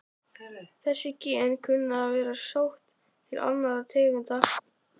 Þessi gen kunna að vera sótt til annarra tegunda.